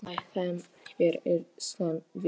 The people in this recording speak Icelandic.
Lái þeim hver sem vill.